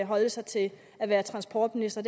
holde sig til at være transportminister